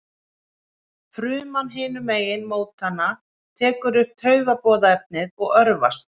Fruman hinum megin mótanna tekur upp taugaboðefnið og örvast.